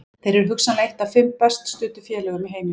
Þeir eru hugsanlega eitt af fimm best studdu félögum í heimi.